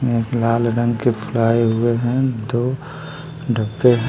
यहाँ पे लाल रंग के फ्लॉवर है दो डब्बे है।